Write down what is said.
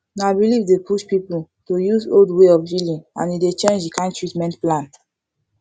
na belief dey push people to use old way of healing and e dey change the kind treatment plan